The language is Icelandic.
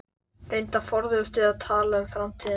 Reyndar forðuðumst við að tala um framtíðina.